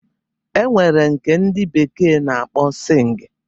E nwere nke ndị bekee na-akpọ sịng